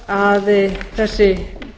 og að þessi